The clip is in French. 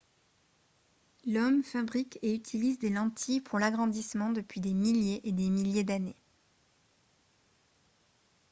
l'homme fabrique et utilise des lentilles pour l'agrandissement depuis des milliers et des milliers d'années